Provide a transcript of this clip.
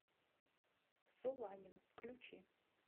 соланин включи